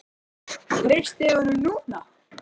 Brynja Þorgeirsdóttir: Treystið þið honum núna?